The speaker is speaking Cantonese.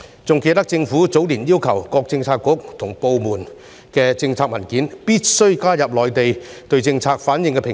還記得政府早年要求各政策局和部門，必須在政策文件中加入內地對政策的反應評估。